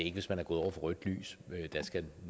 er hvis man er gået over for rødt lys men at der skal